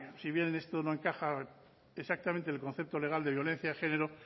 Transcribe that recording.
si bien en esto no encaja exactamente el concepto legal de violencia de género